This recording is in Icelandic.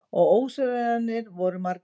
Og ósigrarnir voru margir.